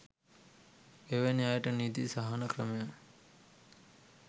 එවැනි අයට නීති සහන ක්‍රමයක්